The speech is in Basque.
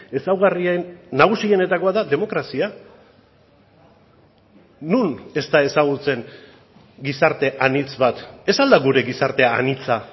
ezaugarrien nagusienetakoa da demokrazia non ez da ezagutzen gizarte anitz bat ez al da gure gizartea anitza